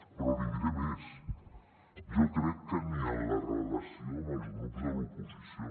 però li diré més jo crec que ni en la relació amb els grups de l’oposició